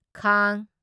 ꯈꯥꯡ